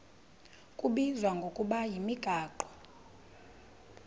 kubizwa ngokuba yimigaqo